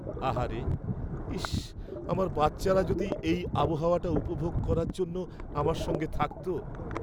আহারে, ইস, আমার বাচ্চারা যদি এই আবহাওয়াটা উপভোগ করার জন্য আমার সঙ্গে থাকত।